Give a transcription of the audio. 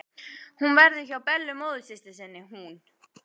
Hún verður hjá Bellu móðursystur sinni, hún.